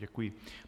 Děkuji.